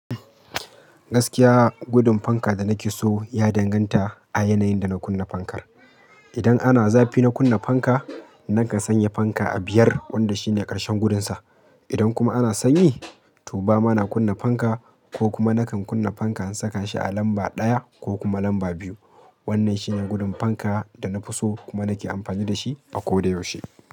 Gaskiya gudun fanka da nake so ya danganta a yanayin da na kunna fankar. Idan ana zafi na kunna fanka, nakan sanya fanka a biyar wanda shine ƙarshen gudunsa. Idan kuma ana sanyi, to ba ma na kunna fanka ko kuma nakan kunna fanka in saka shi a lamba ɗaya ko lamba biyu. Wannan shine gudun fanka da na fi so kuma nake amfani da shi a kodayaushe.